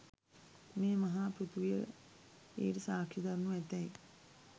මේ මහා පෘථවිය ඊට සාක්ෂි දරණු ඇතැයි